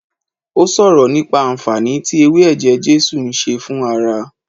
O sọ̀rọ̀ nípa anfaani tí ewé ẹ̀jẹ̀ Jésù ń ṣe fún ara